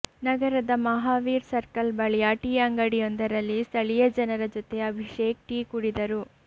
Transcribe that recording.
ನಗರದ ಮಹಾವೀರ್ ಸರ್ಕಲ್ ಬಳಿಯ ಟೀ ಅಂಗಡಿಯೊಂದರಲ್ಲಿ ಸ್ಥಳೀಯ ಜನರ ಜೊತೆ ಅಭಿಷೇಕ್ ಟೀ ಕುಡಿದರು